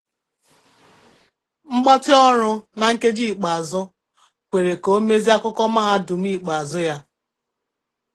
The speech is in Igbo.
Mgbatị ọrụ na nkeji ikpeazụ kwere ka o mezie akụkọ mahadum ikpeazụ ya